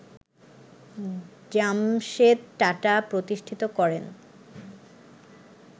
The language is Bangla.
জামশেদ টাটা প্রতিষ্ঠিত করেন